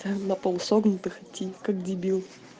наполусогнутых идти как дебил